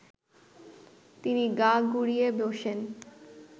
তিনি গা ঘুরিয়ে বসেন